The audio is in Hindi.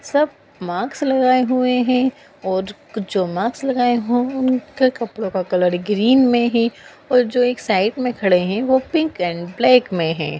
सब मास्क लगाए हुए है और जो मास्क लगाए है उनको कपड़े का कलर ग्रीन में है ओर एक साइड में खड़े है वो पिंक एंड ब्लैक में है।